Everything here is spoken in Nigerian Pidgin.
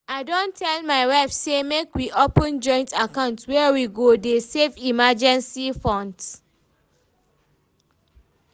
I don tell my wife say make we open joint account wey we go dey save emergency funds